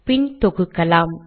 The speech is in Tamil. பின் தொகுக்கலாம்